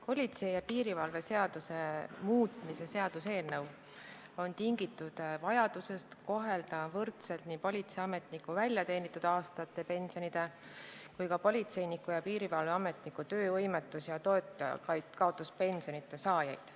Politsei ja piirivalve seaduse muutmise seaduse eelnõu on tingitud vajadusest kohelda võrdselt nii politseiametniku väljateenitud aastate pensioni saajaid kui ka politseiniku ja piirivalveametniku töövõimetus- ja toitjakaotuspensioni saajaid.